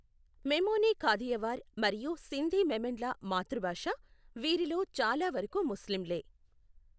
మెమోని కాథియవార్ మరియు సింధీ మెమన్ల మాతృభాష, వీరిలో చాలా వరకు ముస్లింలే.